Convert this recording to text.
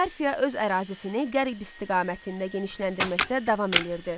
Parfiya öz ərazisini qərb istiqamətində genişləndirməkdə davam eləyirdi.